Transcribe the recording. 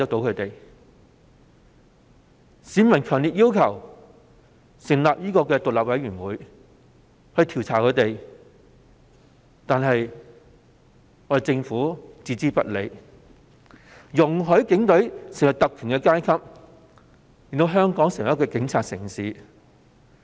儘管市民強烈要求成立獨立調查委員會作出調查，但政府置之不理，任由警隊成為特權階級，令香港淪為警察城市。